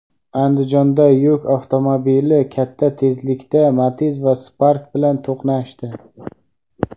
Andijonda yuk avtomobili katta tezlikda Matiz va Spark bilan to‘qnashdi.